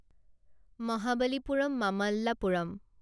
Mahabalipuram Mamallapuram